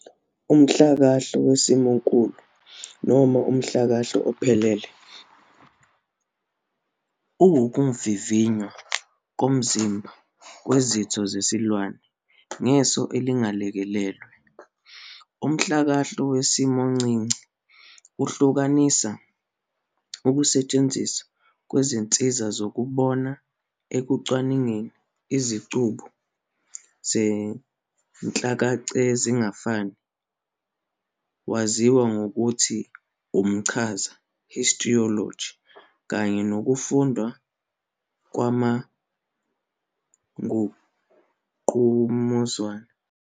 Umhlakahlo wesimonkulu, noma umhlakahlo ophelele, uwukuvivnywa komzimba kwezitho zesilwane ngeso elingalekelelwe. Umhlakahlo wesimoncinci uhlanganisa ukusetshenziswa kwezinsiza zokubona ekucwaningeni izicubu zezinhlakacezingafani, waziwa ngokuthi umchaza "histology", kanye nokufundwa kwamangqamuzana.